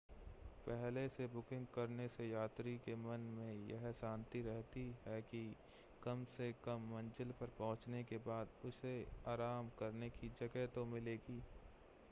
पहले से बुकिंग करने से यात्री के मन में यह शांति रहती है कि कम से कम मंज़िल पर पहुंचने के बाद उसे आराम करने की जगह तो मिलेगी